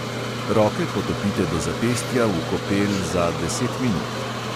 Roke potopite do zapestja v kopel za deset minut.